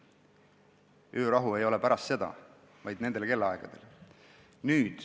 Öörahu ei kehti pärast seda, vaid nendel kellaaegadel.